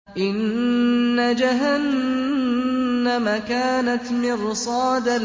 إِنَّ جَهَنَّمَ كَانَتْ مِرْصَادًا